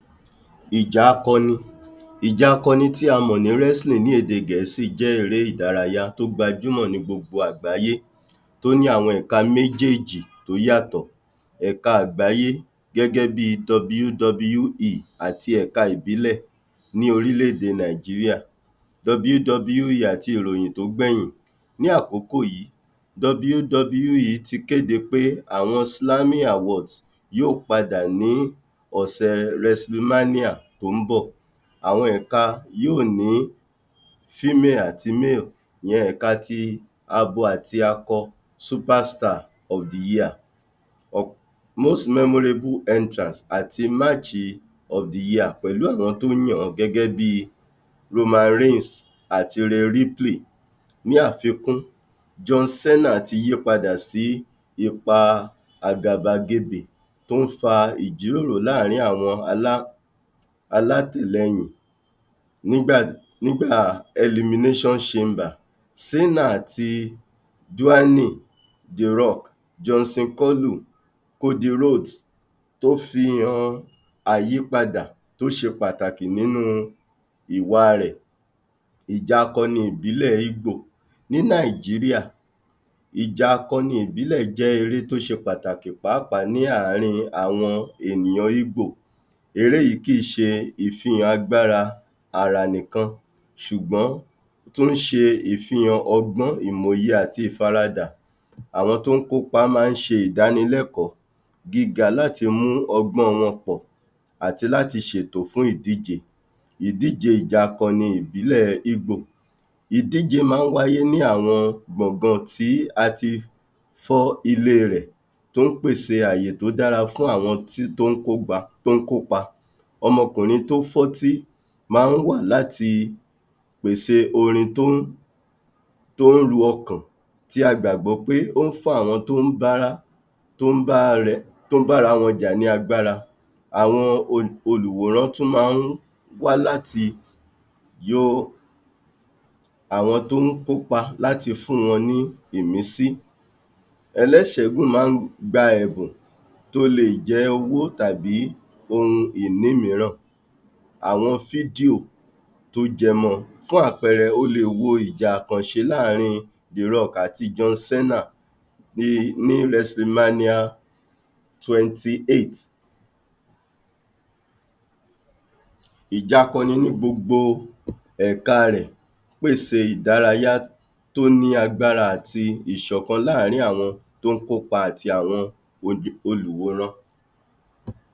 Ìjà akọni. Ìjà akọni tí a mọ̀ ní wrestling ní èdè gẹ̀ẹ́sì jẹ́ eré ìdárayá tó gbajúmọ̀ ní gbogbo àgbáyé tó ní àwọn ẹ̀ká méjèèjì tó yàtọ̀. Èka àgbáyé gẹ́gẹ́ bí i WWE àti ẹ̀ka ìbílẹ̀ níh orílẹ̀-èdè Nàìjíríà WWE àti ìròyìn tó gbẹ̀yìn ní àkókò yìí WWE ti kéde pé àwọn awards yóò padà ní ọ̀sẹ̀ wrestling mania tó ń bọ̀. Àwọn ẹ̀ka yóò ní female àti male ìyẹn ẹ̀ka ti abo àti akọ superstar of the year um most memorable entrance àti march of the year pèlú àwọn tó yàn wọ́n gẹ́gẹ́ bí i roman race àti ripley. Ní àfikún john cena ti yípadà sí ipa àgàbàgebè tó ń fa ìjíròrò láàrin àwọn alá alátìlẹyìn nígbà nígbà elimination chamber cena àti dwayne, drock, johnson tó fi han àyípadà tó ṣe pàtàkì nínú ìwà rẹ̀. Ìjà akọni ìbílẹ̀ íbò ní Nàìjíríà, ìjà akọni ìbílẹ̀ jẹ́h eré tó ṣe pàtàkì pàápàá ní àárín àwọn ènìyàn íbò. Eré yìí kì í ṣe ìfihàn agbára àrà nìkan ṣùgbọ́n, ó tún ń se ìfihàn ọgbọ́n, ìmòye àti ìfaradà. Àwọn tó ń kópa máa ń ṣe ìdánilẹ́kọ̀ọ́ gíga láti mú ọgbọ́n wọn pọ̀ àti láti ṣètò fún ìdíje.ìdíje ìjà akọni ìbílẹ̀ íbò, ìdíje máa ń wáyé ní àwọn gbọ̀gan tí a ti fọ́ ilé rẹ̀ tó ń pèsè àyè tó dára fún àwọn um tó ń kópa, ọmọkùnrin tó fọ́tí máa ń wà láti pèsè orin tó ń tó ń lo ọkàn tí a gbàgbọ́ pé ó ń fún àwọn tó ń bá rá um tó ń b’ára wọn jà ní agbára. Àwọn olùwòrán tún máa ń wá láti um àwọn tó ń kópa láti fún wọn ní ìmísí. ẹléṣẹ̀ náà máa ń gba ẹ̀bùn tí ó lè jẹ́ owó àbí ohun ìní mìíràn, àwọn video tó jẹ mọ. Fún àpẹẹrẹ o lè wo ìjà àkànṣe láàrin Drock àti John Cena ní wrestling mania twenty eight ìjà akọni ní gbogbo èka rẹ̀.